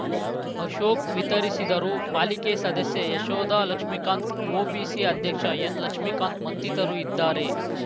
ಅಶೋಕ್ ವಿತರಿಸಿದರು ಪಾಲಿಕೆ ಸದಸ್ಯೆ ಯಶೋಧಾ ಲಕ್ಷ್ಮೀಕಾಂತ್ ಒಬಿಸಿ ಅಧ್ಯಕ್ಷ ಎನ್ ಲಕ್ಷ್ಮೀಕಾಂತ್ ಮತ್ತಿತರು ಇದ್ದಾರೆ